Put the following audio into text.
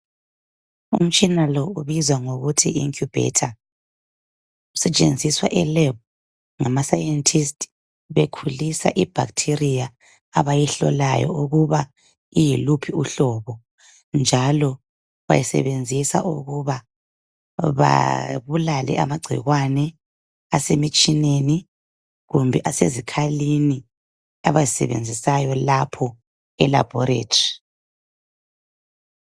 Imitshina leyi iyi incubator usetshenziswa ngama sayenthisti bekhulisa ibhakhithiriya abayihlolayo iyiluphi uhlobo njalo bayisebenzisa ukuba babulale amacikwane ase mtshineni kumbe asezikhalini abazisebenzisayo lapho elabhorethi